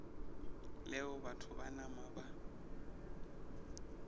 leo batho ba nama ba